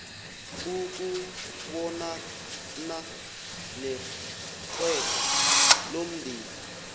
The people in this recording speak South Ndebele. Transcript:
ukubonana negqwetha lomndeni